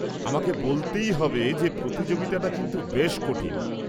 -আমাকে বলতেই হবে যে প্রতিযোগিতাটা কিন্তু বেশ কঠিন।